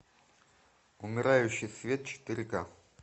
умирающий свет четыре ка